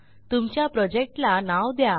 तुमच्या प्रोजेक्ट ला नाव द्या